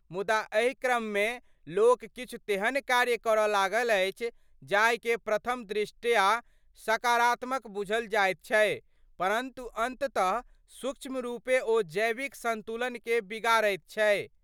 मुदा एहि क्रममे लोक किछु तेहन कार्य करS लागल अछि जाहिके प्रथम दृष्टया सकारात्मक बुझल जाइत छै परन्तु अन्ततः सूक्ष्म रूपें ओ जैविक सन्तुलनकें बिगाड़ैत छै।